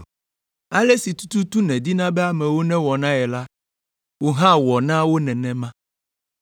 Ale si tututu nèdina be amewo newɔ na ye la, wò hã wɔ na wo nenema.